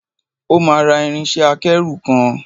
O máa ra irinṣẹ́-akẹ́rù kan.